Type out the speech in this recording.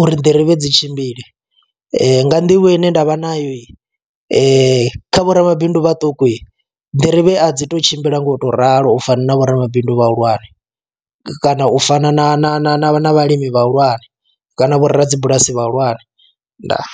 uri nḓirivhe dzi tshimbile nga nḓivho ine ndavha nayo i kha vho ramabindu vhaṱuku dzi nḓirivhe a dzi to tshimbila nga u to ralo u fana na vho ramabindu vhahulwane, kana u fana na na na na na vhalimi vha hulwane kana vho rabulasi vha hulwane ndaa.